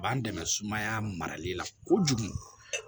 A b'an dɛmɛ sumaya marali la kojugu